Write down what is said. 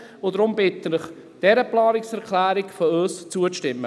Deshalb bitte ich Sie, unserer Planungserklärung zuzustimmen.